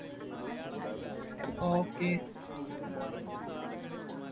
ഓ ആഹ് okay ആ ആ